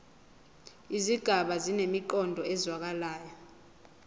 izigaba zinemiqondo ezwakalayo